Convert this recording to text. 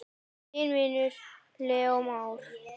Þinn vinur, Leó Már.